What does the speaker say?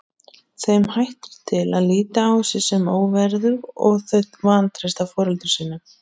Þeim hættir til að líta á sig sem óverðug og þau vantreysta foreldrum sínum.